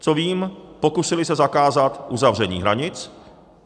Co vím, pokusili se zakázat uzavření hranic.